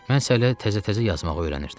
Mən isə hələ təzə-təzə yazmağı öyrənirdim.